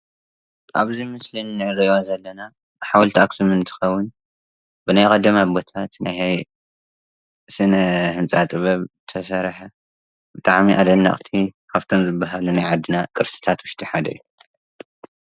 ኣብዚ ምስሊ እንርኦ ዘለና ሓወልቲ ኣክሱም እንትከውን ብናይ ቀደም ኣቦታት ስነ-ህንፃ ጥበብ ዝተሰረሐ ብጣዕሚ ኣደነቅቲ ካብቶም ዝበሃሉ ናይ ዓድና ቅርስታት ውሽጢ ሓደ እዩ።